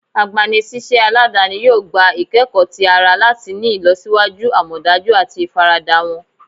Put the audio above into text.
Agbanisiṣẹ aladani yoo gba ikẹkọ ti ara lati ni ilọsiwaju amọdaju ati ifarada wọn. "